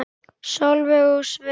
Sólveig og Sveinn.